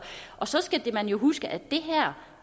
så skal man jo huske at